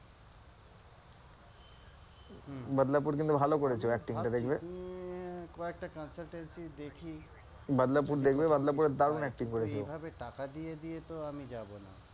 হম বাদলাপুর কিন্তু ভালো করেছে ও acting টা দেখবে, বাদলাপুর দেখবে বাদলাপুরে দারুন acting করেছে ও